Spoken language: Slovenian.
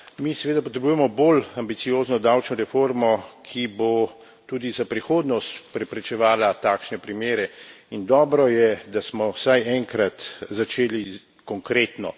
Mi seveda potrebujemo bolj ambiciozno davčno reformo, ki bo tudi za prihodnost preprečevala takšne primere, in dobro je, da smo vsaj enkrat začeli konkretno.